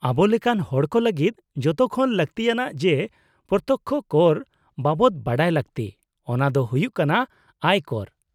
-ᱟᱵᱚᱞᱮᱠᱟᱱ ᱦᱚᱲᱠᱚ ᱞᱟᱹᱜᱤᱫ ᱡᱚᱛᱚᱠᱷᱚᱱ ᱞᱟᱹᱛᱤᱭᱟᱱᱟᱜ ᱡᱮ ᱯᱨᱚᱛᱛᱚᱠᱽᱠᱷᱚ ᱠᱚᱨ ᱵᱟᱵᱚᱫ ᱵᱟᱰᱟᱭ ᱞᱟᱹᱜᱛᱤ ᱚᱱᱟ ᱫᱚ ᱦᱩᱭᱩᱜ ᱠᱟᱱᱟ ᱟᱭ ᱠᱚᱨ ᱾